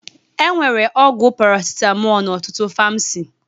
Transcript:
E nwere ọgwụ parasitamọl n'ọtụtụ famasi